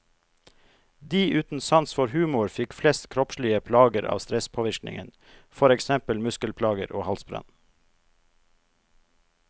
De uten sans for humor fikk flest kroppslige plager av stresspåvirkningen, for eksempel muskelplager og halsbrann.